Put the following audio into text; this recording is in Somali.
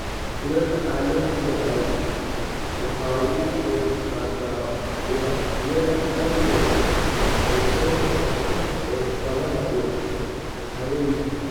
Kulaylka caalamiga ahi waxa uu ka qayb qaataa ubaxyada algae ee soo noqnoqda ee badaha iyo harooyinka.